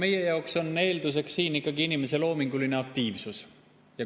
Meie jaoks on eelduseks siin ikkagi inimese loominguline aktiivsus.